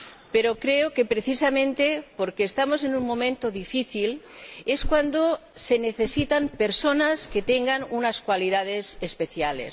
Pero creo que, precisamente porque estamos en un momento difícil, se necesitan personas que tengan unas cualidades especiales